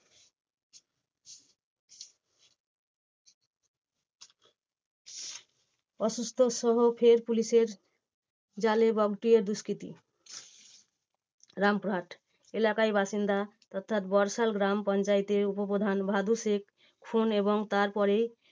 অসুস্থ সহ ফের পুলিশের জালে বগটুই এর দুষ্কৃতী। রামপুরহাট, এলাকায় বাসিন্দা অর্থাৎ বর্শাল গ্রাম পঞ্চায়েতের উপপ্রধান ভাদু শেখ খুন এবং তারপরে